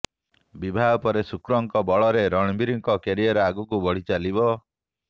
ବିବାହ ପରେ ଶୁକ୍ରଙ୍କ ବଳରେ ରଣବୀରଙ୍କ କ୍ୟାରିୟର ଆଗକୁ ବଢ଼ି ଚାଲିବ